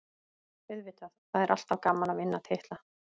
Auðvitað, það er alltaf gaman að vinna titla.